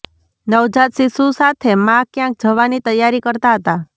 નવાજત શિશુ સાથે મા ક્યાંક જવાની તૈયારી કરતાં હતા